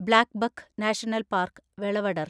blackbuck national park, Velavadar